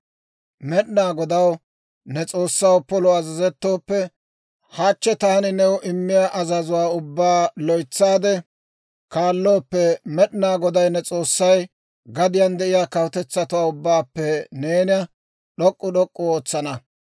«Med'inaa Godaw, ne S'oossaw, polo azazettooppe, hachchi taani new immiyaa azazuwaa ubbaa loytsaade kaallooppe, Med'inaa Goday ne S'oossay gadiyaan de'iyaa kawutetsatuwaa ubbaappe neena d'ok'k'u d'ok'k'u ootsana.